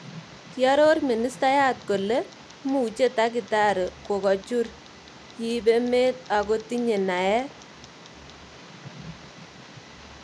Kiaroor ministayaat kolei muuche takitaari, kogochuur, yiibe met ak kotinye naet